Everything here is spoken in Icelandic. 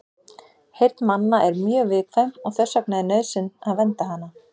Heyrn manna er mjög viðkvæm og þess vegna er nauðsyn að vernda hana.